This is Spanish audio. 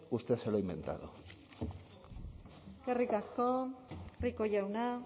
usted se lo ha inventado eskerrik asko rico jauna